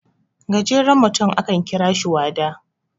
gajerenutum akan kira shi wada